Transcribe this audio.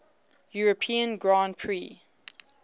european grand prix